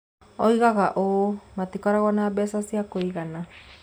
Oigaga ũũ: "Matikoragwo na mbeca cia kũigana.